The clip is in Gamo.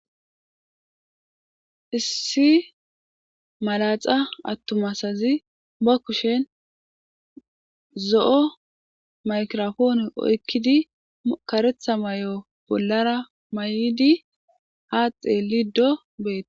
issi malaxa attumasazi ba kushen zo7o maykirofoone oykkidi karetha may7o bollara may7idi ha xeelido beet